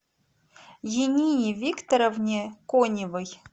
янине викторовне коневой